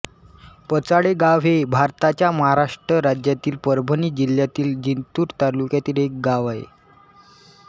पचाळेगाव हे भारताच्या महाराष्ट्र राज्यातील परभणी जिल्ह्यातील जिंतूर तालुक्यातील एक गाव आहे